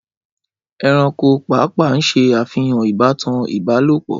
Ẹranko pàápàá ṣe àfihàn ìbátan Ibalopọ